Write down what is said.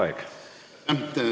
Aitäh!